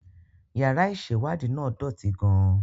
Yàrá ìṣèwádìí náà dọ̀tí gan-an